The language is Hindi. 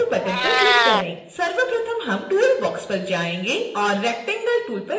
सर्वप्रथम हम toolbox पर जायेंगे और rectangle टूल पर क्लिक करेंगे